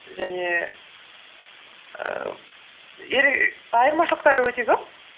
және ііі айырмашылықтары өте көп